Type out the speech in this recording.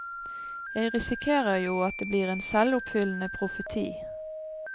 Jeg risikerer jo at det blir en selvoppfyllende profeti.